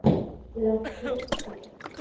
Ular ko‘rib chiqadi.